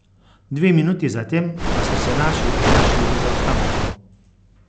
Dve minuti zatem pa so se naši znašli v zaostanku.